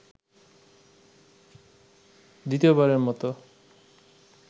দ্বিতীয়বারেরমতো